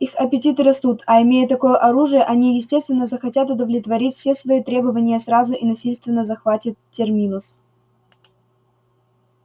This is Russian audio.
их аппетиты растут а имея такое оружие они естественно захотят удовлетворить все свои требования сразу и насильственно захватят терминус